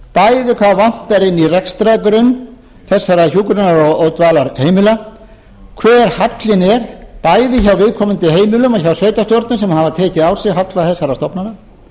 bæði hvað vantar inn í þennan rekstrargrunn þessara hjúkrunar og dvalarheimila hver hallinn bæði hjá viðkomandi heimilum og hjá sveitarstjórnum sem hafa tekið á sig halla þessara stofnana